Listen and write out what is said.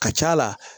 Ka ca la